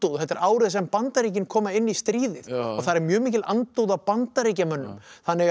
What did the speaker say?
þetta er árið sem Bandaríkin koma inn í stríðið og þar er mjög mikil andúð á Bandaríkjamönnum þannig að